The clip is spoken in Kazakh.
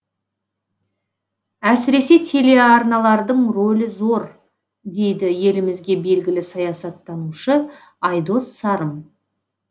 әсіресе телеарналардың ролі зор дейді елімізге белгілі саясаттанушы айдос сарым